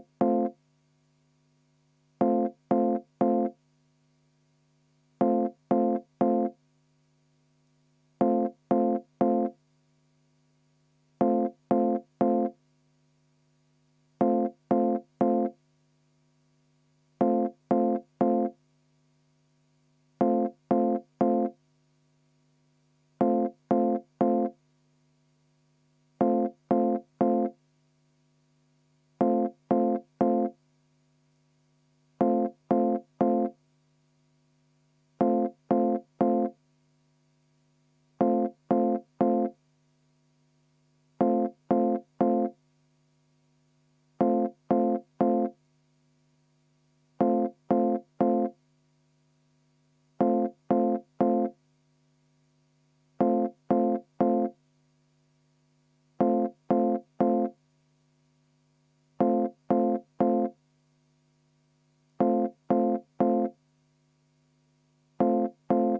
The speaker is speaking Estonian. V a h e a e g